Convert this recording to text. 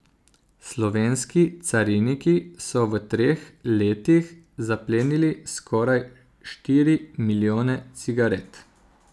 Slovenski cariniki so v treh letih zaplenili skoraj štiri milijone cigaret.